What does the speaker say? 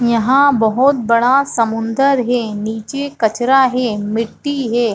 यहाँ बहुत बड़ा समुन्द्र है नीचे कचरा हे मिट्टी हे।